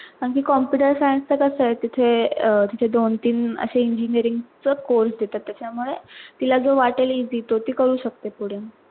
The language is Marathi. आणि computerscience च कस आहे अह तिथे दोन तीन अशे engineering चे देतात त्याचा मुळे तिला जो वाटेल easy ते ती करू शकते पुढे.